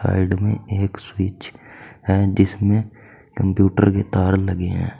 Side में एक switch हैं जिसमें कंप्यूटर के तार लगे हैं।